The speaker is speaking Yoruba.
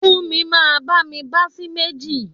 Funmi máa bá mi bá sì méjì.